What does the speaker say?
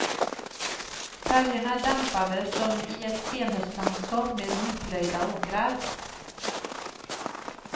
Färgerna är dämpade, som i ett senhöstlandskap med nyplöjda åkrar.